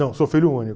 Não, sou filho único.